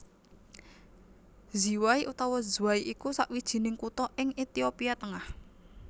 Ziway utawa Zway iku sawijining kutha ing Ethiopia tengah